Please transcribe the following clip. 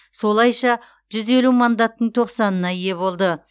солайша жүз елу мандаттың тоқсанына ие болды